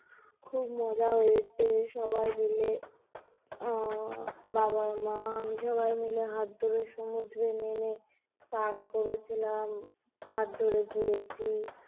খুব মজা হয়েছে সবাই মিলে আহ বাবা মা আমি সবাই মিলে হাত ধরে সমুদ্রে নেমে স্নান করেছিলাম, হাত ধরে ঘুরেছি